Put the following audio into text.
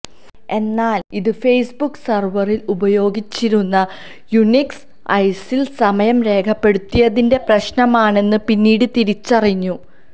എന്നാൽ ഇത് ഫെയ്സ്ബുക്ക് സെർവറിൽ ഉപയോഗിച്ചിരുന്ന യുനിക്സ് ഒഎസിൽ സമയം രേഖപ്പെടുത്തിയതിന്റെ പ്രശ്നമാണെന്ന് പിന്നീട് തിരിച്ചറിഞ്ഞു